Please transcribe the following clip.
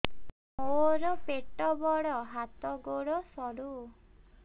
ମୋର ପେଟ ବଡ ହାତ ଗୋଡ ସରୁ